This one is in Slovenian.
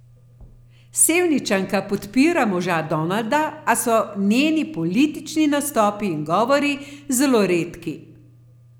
Sevničanka podpira moža Donalda, a so njeni politični nastopi in govori zelo redki.